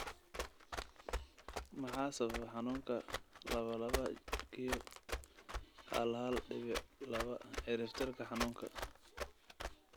Maxaa sababa xanunka laba laba q hal hal dibic laba ciribtirka xanuunka?